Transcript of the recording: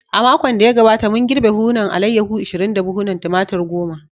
A makon da ya gabata, mun girbe buhunan alayyahu ishirin da buhunan Tumatir goma.